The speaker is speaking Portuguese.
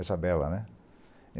Isabela, né?